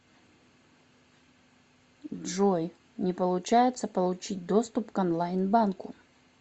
джой не получается получить доступ к онлайн банку